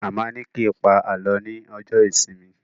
Màmá ni kí n pa alọ ní ọjọ ìsinmi